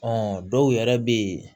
dɔw yɛrɛ bɛ yen